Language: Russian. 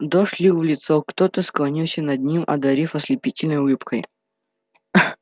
дождь лил в лицо кто-то склонился над ним одарив ослепительной улыбкой